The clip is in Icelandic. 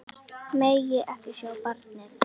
Megi ekki sjá barnið.